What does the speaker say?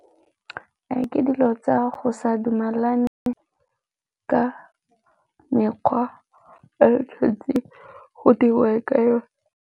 Ke dilo tsa go sa dumelane ka mekgwa le go diriwe ka.